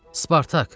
Spartak!